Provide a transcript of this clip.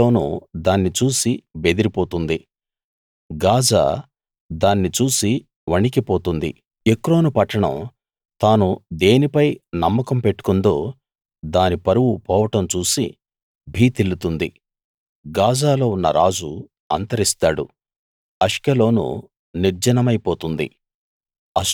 Ashkelon దాన్ని చూసి బెదిరిపోతుంది గాజా దాన్ని చూసి వణికిపోతుంది ఎక్రోను పట్టణం తాను దేనిపై నమ్మకం పెట్టుకుందో దాని పరువు పోవడం చూసి భీతిల్లుతుంది గాజాలో ఉన్న రాజు అంతరిస్తాడు అష్కెలోను నిర్జనమై పోతుంది